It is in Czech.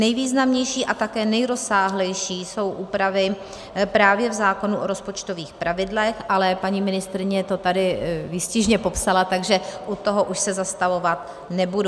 Nejvýznamnější a také nejrozsáhlejší jsou úpravy právě v zákonu o rozpočtových pravidlech, ale paní ministryně to tady výstižně popsala, takže u toho už se zastavovat nebudu.